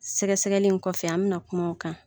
Sɛgɛsɛgɛnli in kɔfɛ an bina kuma o kan.